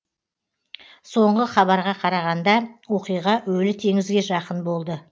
соңғы хабарға қарағанда оқиға өлі теңізге жақын болды